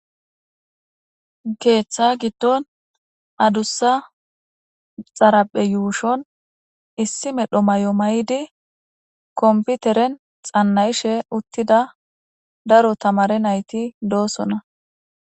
Keeththa giddon addusa xaraphe yushon issi medho mayo mayid xana7ishe diza daro tamare nayiti dosona.